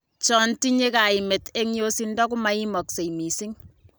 Chon tinye kaimet en yosindo komaimaksei mising